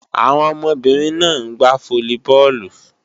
Àwọn ọmọbìnrin náà ń gbá fólíbọọ̀lù